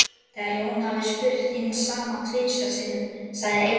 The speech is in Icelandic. Þegar Jón hafði spurt hins sama tvisvar sinnum sagði Einar